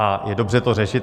A je dobře to řešit.